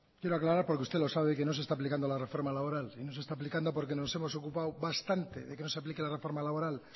quiero aclarar porque usted lo sabe que no se está aplicando la reforma laboral y no se está aplicando porque nos hemos ocupado bastante de que no se aplique la reforma laboral